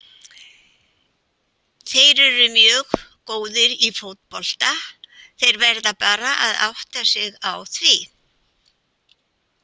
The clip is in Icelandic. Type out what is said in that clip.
Þeir eru mjög góðir í fótbolta, þeir verða bara að átta sig á því.